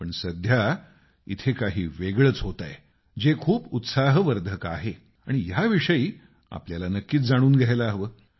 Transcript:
पण सध्या इथे काही वेगळच होत आहे जे खूप उत्साहवर्धक आहे आणि याविषयी आपल्याला नक्कीच जाणून घ्यायला हवं